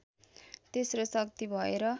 तेस्रो शक्ति भएर